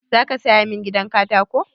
Za ka saya min gidan katako?